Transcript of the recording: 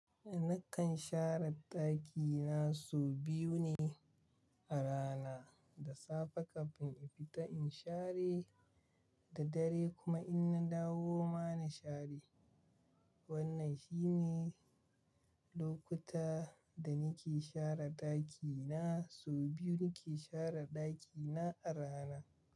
Nakan share ɗakina sau biyu ne a rana. Da safe kafin in fita in share da dare kuma in na dawo ma na share. Wannan shine lokuta da nake share ɗakina. Sau biyu nake share ɗakina a rana.